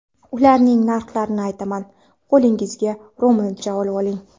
Ularning narxlarini aytaman, qo‘lingizga ro‘molcha olvoling.